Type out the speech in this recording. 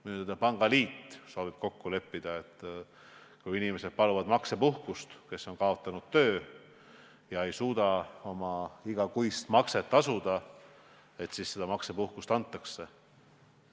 Minu teada soovib pangaliit kokku leppida, et kui inimesed, kes on kaotanud töö ega suuda oma igakuist makset tasuda, paluvad maksepuhkust, siis seda neile antakse.